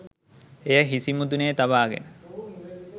එය හිසි මුදුනේ තබා ගෙන